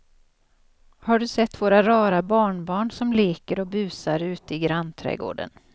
Har du sett våra rara barnbarn som leker och busar ute i grannträdgården!